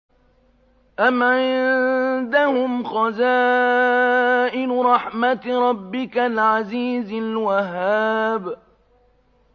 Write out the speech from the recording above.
أَمْ عِندَهُمْ خَزَائِنُ رَحْمَةِ رَبِّكَ الْعَزِيزِ الْوَهَّابِ